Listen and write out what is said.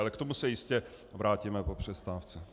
Ale k tomu se jistě vrátíme po přestávce.